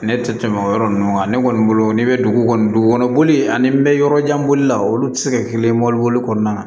Ne tɛ tɛmɛ o yɔrɔ ninnu kan ne kɔni bolo n'i bɛ dugu kɔni dugu kɔnɔ boli ani n bɛ yɔrɔ jan bolila olu tɛ se ka kɛ kelen ye mobiliboli kɔnɔna na